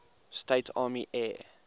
states army air